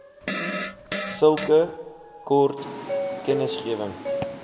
sulke kort kennisgewing